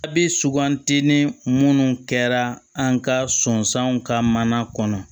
A bi suganti ni minnu kɛra an ka sɔnw ka mana kɔnɔ